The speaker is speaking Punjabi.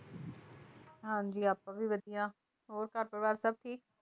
ਹਾਂ ਜੀ ਆਪਾਂ ਵੀ ਵਧੀਆ, ਹੋਰ ਘਰ ਪਰਿਵਾਰ ਸਭ ਠੀਕ?